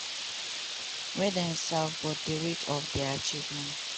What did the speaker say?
wey dem serve but di rate of dia achievements.